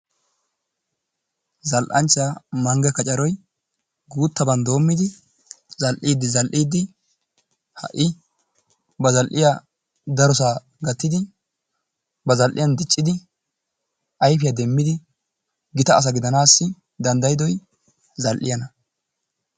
Zalanchchaa mange kaccoroy guttabanni domidi zalidi zalidi, ha' ba zaliyaa daro sohuwaa gattidi ba zaliyan diccidi aypiyaa demidi gittaa asa gidanassi dandayidoy zal'iyanna.